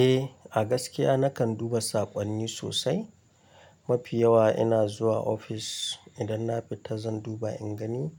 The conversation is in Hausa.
Eh, a gaskiya nakan duba saƙonni sosai. Mafi yawa ina zuwa ofis idan na fita zan duba in gani